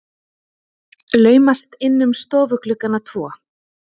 Laumast inn um stofugluggana tvo.